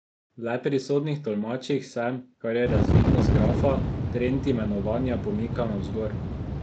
Le pri sodnih tolmačih se, kar je razvidno z grafa, trend imenovanja pomika navzgor.